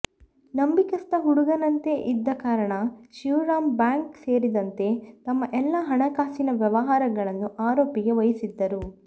ನಂಬಿಕಸ್ಥ ಹುಡುಗನಂತೆ ಇದ್ದ ಕಾರಣ ಶಿವರಾಂ ಬ್ಯಾಂಕ್ ಸೇರಿದಂತೆ ತಮ್ಮ ಎಲ್ಲಾ ಹಣಕಾಸಿನ ವ್ಯವಹಾರಗಳನ್ನು ಆರೋಪಿಗೆ ವಹಿಸಿದ್ದರು